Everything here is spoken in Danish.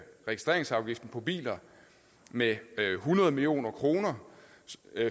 registreringsafgiften på biler med hundrede million kroner